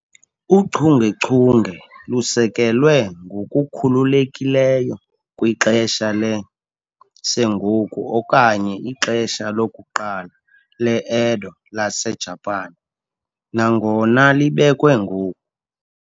Uchungechunge lusekelwe ngokukhululekileyo kwixesha le-Sengoku okanye ixesha lokuqala le-Edo laseJapan, nangona libekwe ngoku.